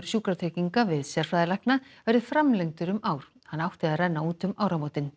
Sjúkratrygginga við sérfræðilækna verði framlengdur um ár hann átti að renna út um áramót